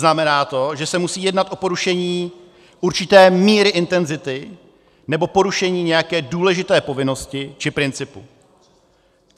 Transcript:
Znamená to, že se musí jednat o porušení určité míry intenzity nebo porušení nějaké důležité povinnosti či principu.